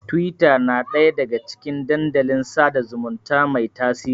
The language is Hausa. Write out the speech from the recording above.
Tiwita na ɗaya daga cikin dandalin sada zumunta mai tasiri.